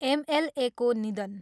एमएलएको निधन।